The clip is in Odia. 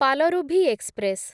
ପାଲରୁଭି ଏକ୍ସପ୍ରେସ୍